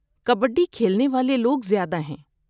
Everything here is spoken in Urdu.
کبڈی کھیلنے والے لوگ زیادہ ہیں۔